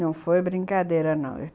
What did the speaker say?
Não foi brincadeira, não.